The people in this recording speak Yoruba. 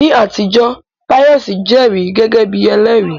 Ní àtijọ́, Pius jẹ́rìí gẹ́gẹ́ bí ẹlẹ́rìí.